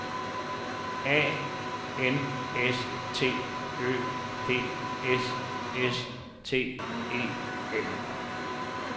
A N S T Ø D S S T E N